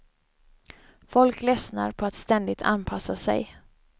Folk lessnar på att ständigt anpassa sig.